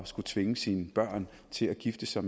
skulle tvinge sine børn til at gifte sig